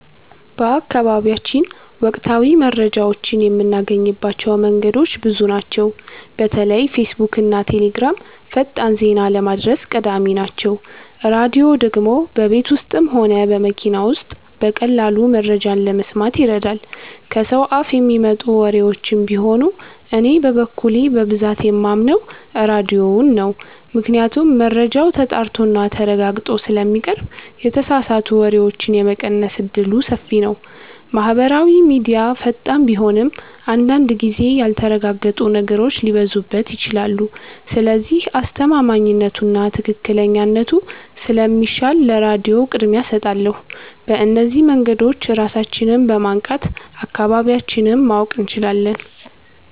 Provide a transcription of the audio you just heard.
በአካባቢያችን ወቅታዊ መረጃዎችን የምናገኝባቸው መንገዶች ብዙ ናቸው። በተለይ ፌስቡክና ቴሌግራም ፈጣን ዜና ለማድረስ ቀዳሚ ናቸው። ራድዮ ደግሞ በቤት ውስጥም ሆነ በመኪና ውስጥ በቀላሉ መረጃ ለመስማት ይረዳል። ከሰው አፍ የሚመጡ ወሬዎችም ቢኖሩ እኔ በበኩሌ በብዛት የማምነው ራድዮን ነው ምክንያቱም መረጃው ተጣርቶና ተረጋግጦ ስለሚቀርብ የተሳሳቱ ወሬዎችን የመቀነስ እድሉ ሰፊ ነው። ማህበራዊ ሚድያ ፈጣን ቢሆንም አንዳንድ ጊዜ ያልተረጋገጡ ነገሮች ሊበዙበት ይችላሉ። ስለዚህ አስተማማኝነቱና ትክክለኛነቱ ስለሚሻል ለራድዮ ቅድሚያ እሰጣለሁ። በእነዚህ መንገዶች ራሳችንን በማንቃት አካባቢያችንን ማወቅ እንችላለን።